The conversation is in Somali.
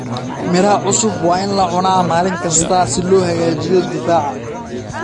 Miraha cusub waa in la cunaa maalin kasta si loo hagaajiyo difaaca.